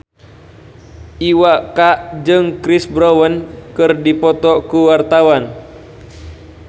Iwa K jeung Chris Brown keur dipoto ku wartawan